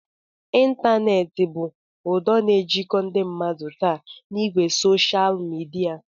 Ịntaneetị bụ ụdọ na-ejikọta ndị mmadụ taa n'ìgwè soshal midia